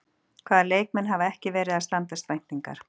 Hvaða leikmenn hafa ekki verið að standast væntingar?